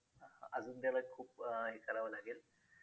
अजून त्याला खूप हे करावं लागेल